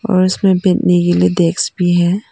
और इसमें बैठने के लिए डेस्क भी है।